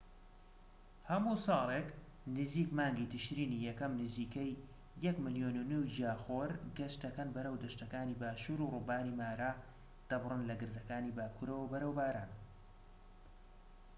هەموو ساڵێك نزیک مانگی تشرینی یەکەم نزیکەی ١.٥ ملیۆن گیاخۆر گەشت دەکەن بەرەو دەشتەکانی باشوور و ڕووباری مارا دەبڕن لە گردەکانی باکورەوە بەرەو باران